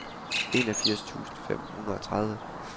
enogfirs tusind fem hundrede og tredive